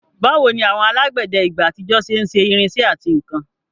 Báwo ni àwọn alágbẹ̀dẹ ìgbà àtijọ́ ṣe ń ṣe irinṣẹ́ àti nkan?